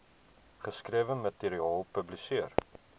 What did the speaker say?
geskrewe materiaal publiseer